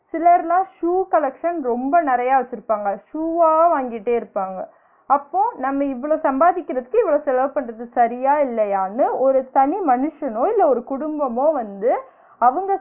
சிலர்னா shoe collection ரொம்ப நெறைய வச்சிருப்பாங்க, shoe வா வாங்கிட்டே இருப்பாங்க அப்போ நம்ம இவ்ளோ சம்பாதிக்கிறதுக்கு இவ்ளோ செலவு பண்ணுறது சரியா? இல்லையா? ன்னு ஒரு தனி மனுஷனோ இல்ல ஒரு குடும்பமோ வந்து அவுங்க